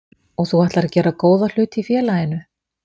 Og þú ætlar að gera góða hluti í félaginu?